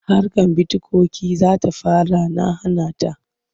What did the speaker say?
Harkar bitikoyin za ta fara na hana ta.